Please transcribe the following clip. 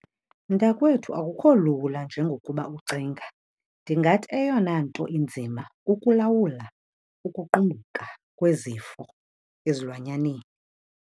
Mntakwethu akukho lula njengokuba ucinga. Ndingathi eyona nto inzima kukulawula ukuqumbumka kwezifo ezilwanyaneni.